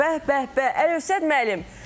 Bəh, bəh, bəh, Əlövsət müəllim.